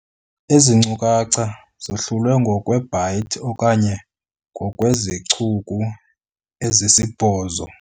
Ezi nkcukacha zahlulwe ngokweebhayithi okanye ngokweezicuku ezisibhozo.